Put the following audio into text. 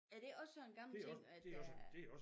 Er det også sådan gamle ting at der